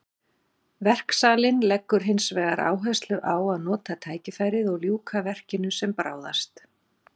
Verksalinn leggur hinsvegar áherslu á að nota tækifærið og ljúka verkinu sem bráðast.